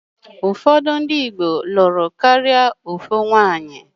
Ụfọdụ ndị Igbo lụrụ karịa otu nwaanyị.